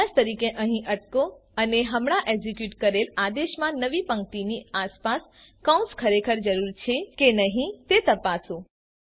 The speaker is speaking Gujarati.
અભ્યાસ તરીકે અહીં અટકો અને હમણાં એક્ઝીક્યુટ કરેલ આદેશમાં નવી પંક્તિની આસપાસ કૌંસ ખરેખર જરૂરી છે તે છે કે નહી તે તપાસો